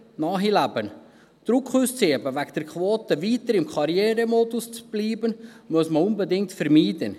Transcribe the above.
Wegen der Quote Druck auszuüben, weiter im Karrieremodus zu bleiben, muss man unbedingt vermeiden.